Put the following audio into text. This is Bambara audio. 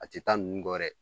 A te taa nunnu kɔ dɛ